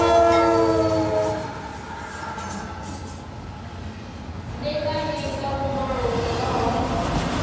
ṋekane nga luṅwalo lu bvaho